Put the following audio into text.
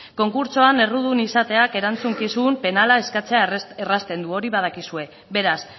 konkurtsoan errudun izateak erantzukizun penala eskatzea errazten du hori badakizue beraz